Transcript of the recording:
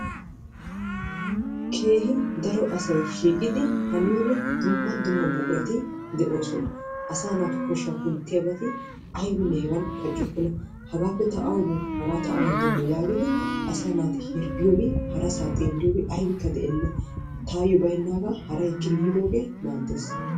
keehi daro asay shiiqidi haniyoode dumma dumma buqurati de'oosona, asaa naatu koshsha kunttiyaabati aybbinne hegan paccokona. hegappe ta awu boo hagaa ta awan demmo yaagidi asaa naati hirggiyoobi harasaa xeeliyoobi aybbikka de'eena, taayyo baynnaaga haray ekkidi yidooge maaddees.